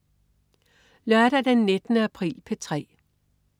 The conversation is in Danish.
Lørdag den 19. april - P3: